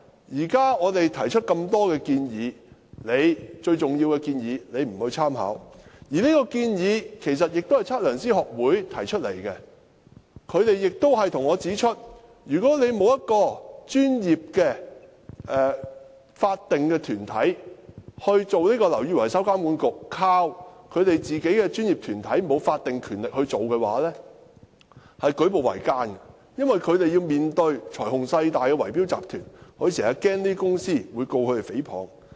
現在我們提出這麼多建議，其中最重要的一項，政府卻不參考，而這項建議其實是由香港測量師學會提出的，他們向我指出，如果沒有一個專業的法定團體如"樓宇維修工程監管局"，僅依靠他們這個沒有法定權力的專業團體來負責的話，會舉步維艱，因為他們要面對財雄勢大的圍標集團，經常擔心這些公司會控告他們誹謗。